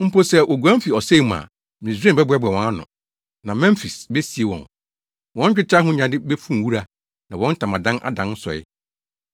Mpo sɛ woguan fi ɔsɛe mu a Misraim bɛboaboa wɔn ano, na Memfis besie wɔn. Wɔn dwetɛ ahonyade befuw wura, na wɔn ntamadan adan nsɔe.